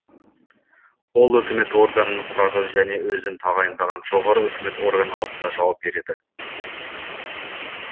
ол өкімет органын құрады және өзін тағайындаған жоғары өкімет орган алдында жауап береді